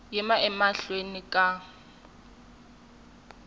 yima emahlweni ka n wina